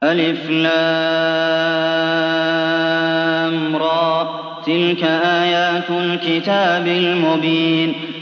الر ۚ تِلْكَ آيَاتُ الْكِتَابِ الْمُبِينِ